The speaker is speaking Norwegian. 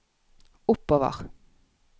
oppover